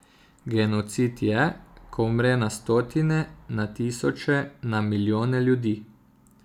Genocid je, ko umre na stotine, na tisoče, na milijone ljudi.